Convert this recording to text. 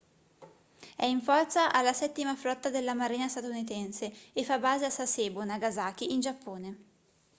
è in forza alla settima flotta della marina statunitense e fa base a sasebo nagasaki in giappone